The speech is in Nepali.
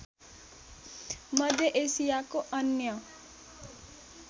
मध्य एसियाको अन्य